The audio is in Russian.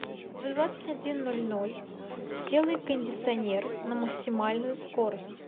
в двадцать один ноль ноль сделай кондиционер на максимальную скорость